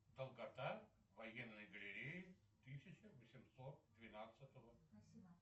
долгота военнйо галерии тысяча восемьсот двенадцатого